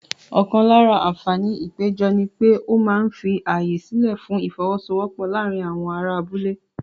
Ọ̀kan lára àǹfààní ìpéjọ ni pé ó máa ń fi ààyè sílẹ̀ fún ìfọ́wọ́sọwọ́pọ̀ láàárín àwọn ará abúlé.